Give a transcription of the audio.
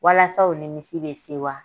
Walasa u nimisi bɛ sewa.